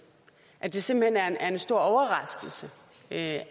at det simpelt hen er en stor overraskelse at